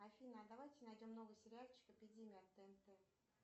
афина а давайте найдем новый сериальчик эпидемия от тнт